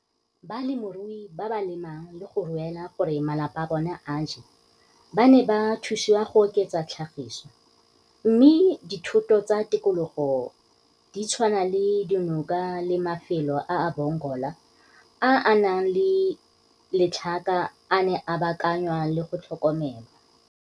Balemirui ba ba le mang le go ruela gore malapa a bona a je ba ne ba thusiwa go oketsa tlhagiso, mme dithoto tsa tikologo di tshwana le dinoka le mafelo a a bongola a a nang le letlhaka a ne a baakanngwa le go tlhokomelwa.